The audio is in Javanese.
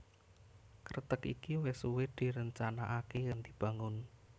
Kreteg iki wis suwé direncanakaké lan dibangun